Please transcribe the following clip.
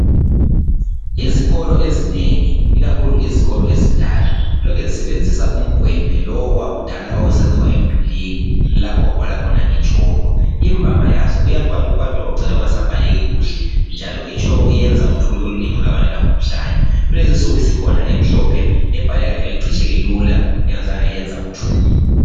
Izikolo ezinengi ikakhulu izikolo ezindala. Lokhe zisebenzisa umgwembe lo owakudala owawusenziwa emdulwini. lapho owawu bhala khona nge tshoko. Imvama yazo iyakwatukwatuka kucine kungasabhaleki kuhle. Njalo itshoko iyenza uthuli olunengi olungabangela umkhuhlane. Kulezi insuku sikhona emhlophe ebhaleka njalo icitsheke lula ingazange yenza uthuli.